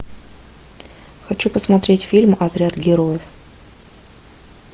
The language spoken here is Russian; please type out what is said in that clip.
хочу посмотреть фильм отряд героев